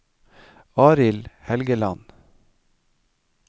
Arild Helgeland